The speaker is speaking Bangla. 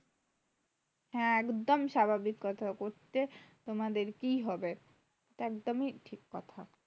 হ্যাঁ, একদম স্বাভাবিক কথা বলছো। যে, তোমাদের কি হবে? একদমই ঠিক কথা।